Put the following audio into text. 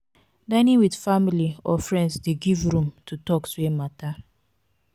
dining with family or friends de give room to talks wey matter